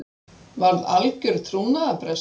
Varð algjör trúnaðarbrestur